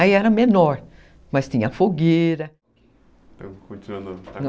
Aí era menor, mas tinha fogueira.